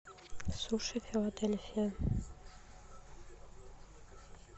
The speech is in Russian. суши филадельфия